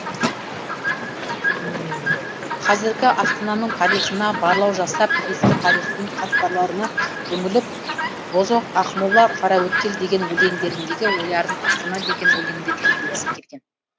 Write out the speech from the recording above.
қазіргі астананың тарихына барлау жасап ескі тарихтың қатпарларына үңіліп бозоқ ақмола қараөткел деген өлеңдеріндегі ойларын астана деген өлеңінде түйіндегісі келген